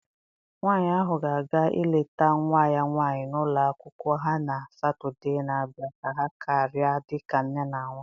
Nwanyị ahụ ga-aga ileta nwa ya nwanyị n'ụlọ akwụkwọ ha na Satọdee na-abịa ka ha karịa dịka nne na nwa.